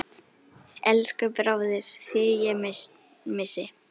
Elsku bróðir, þig ég missi.